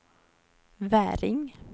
Väring